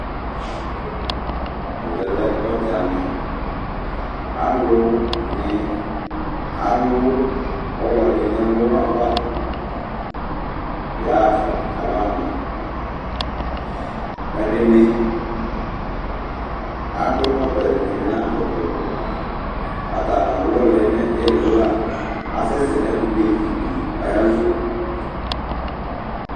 Ɛvɛ lɛ ɔdzaniAlʋni alʋ ɔlɔɖi n'ɛlʋava ayaɣafa k'abaɣa maaƐɖɛni akɔ ɛkɔtɔ, ɛɖinibi n'akɔ ɛkɔtɔAatani alʋ ɔliɛ nʋ ilila, asɛsɛ n'ɛkutɛ viiɖi ayalɔnʋ